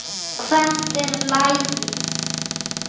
Hvert er lagið?